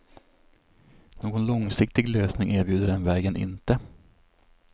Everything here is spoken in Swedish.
Någon långsiktig lösning erbjuder den vägen inte.